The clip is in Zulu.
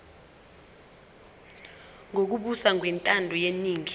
lokubusa ngokwentando yeningi